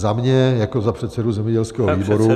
Za mě jako za předsedu zemědělského výboru -